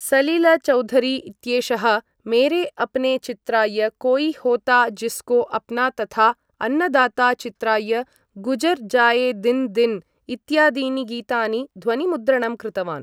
सलिल चौधरी इत्येषः मेरे अपने चित्राय कोई होता जिस्को अपना तथा अन्नदाता चित्राय गुजर जाये दिन दिन इत्यादीनि गीतानि ध्वनिमुद्रणं कृतवान्।